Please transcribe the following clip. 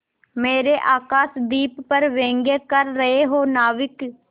मेरे आकाशदीप पर व्यंग कर रहे हो नाविक